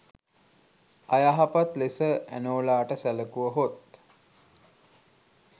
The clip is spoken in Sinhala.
අයහපත් ලෙස ඇනෝලාට සැලකුව හොත්